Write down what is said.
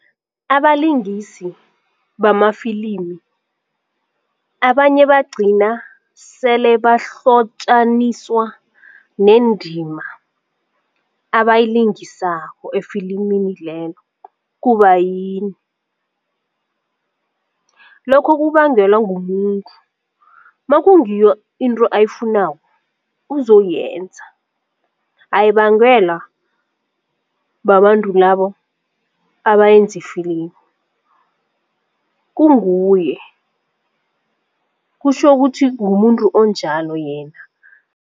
Abalingisi bamafilimu abanye bagcina sele bahlotjaniswa nendima ebayilingisako efilimini lelo, kubayini? Lokho kubangelwa ngumuntu makungiyo into ayifunako uzoyenza ayibangwela babantu labo abayenza ifilimu kunguye kutjho ukuthi ngumuntu onjalo yena.